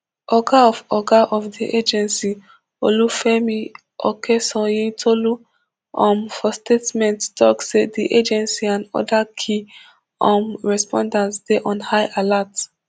oga of oga of di agency olufemi okeosanyintolu um for statement tok say di agency and oda key um responders dey on high alert